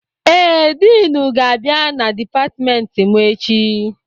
Ee, Diinu ga-abịa na dipatịmentị mụ echi.